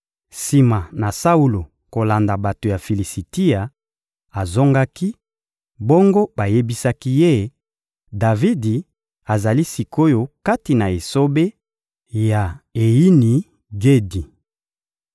Sima na Saulo kolanda bato ya Filisitia, azongaki; bongo bayebisaki ye: «Davidi azali sik’oyo kati na esobe ya Eyini-Gedi.»